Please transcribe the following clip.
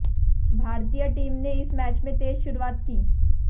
भारतीय टीम ने इस मैच में तेज शुरूआत की